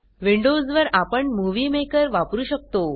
Windows वर आपण movie maker वापरु शकतो